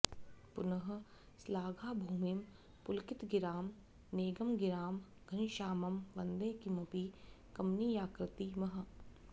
पुनः श्लाघाभूमिं पुलकितगिरां नैगमगिरां घनश्यामं वन्दे किमपि कमनीयाकृति महः